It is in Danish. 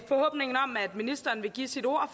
ministeren vil give sit ord